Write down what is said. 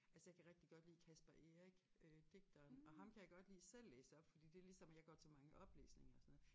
Altså jeg kan rigtig godt lide Caspar Eric øh digteren og ham kan jeg godt lide selv læse op fordi det ligesom at jeg går til mange oplæsninger og sådan noget